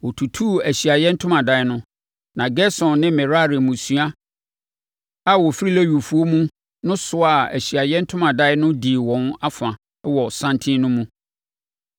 Wɔtutuu Ahyiaeɛ Ntomadan no, na Gerson ne Merari mmusua a wɔfiri Lewifoɔ mu no soaa Ahyiaeɛ Ntomadan no dii wɔn afa wɔ santen no mu.